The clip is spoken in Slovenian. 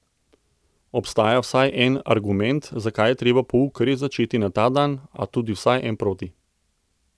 Obstaja vsaj en argument, zakaj je treba pouk res začeti na ta dan, a tudi vsaj en proti.